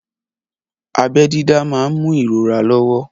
Abẹ́ dídá máà ń mú ìrora lọ́wọ́.